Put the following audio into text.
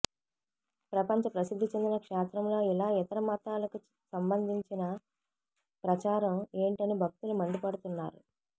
ప్రపంచ ప్రసిద్ధి చెందిన క్షేత్రంలో ఇలా ఇతర మతాలకు సంబంధించిన ప్రచారం ఏంటని భక్తులు మండిపడుతున్నారు